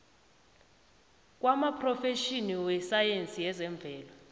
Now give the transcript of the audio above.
kwamaphrofetjhini wesayensi yezemvelo